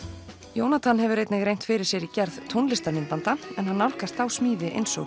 Jónatan hefur einnig reynt fyrir sér í gerð tónlistarmyndbanda en hann nálgast þá smíði eins og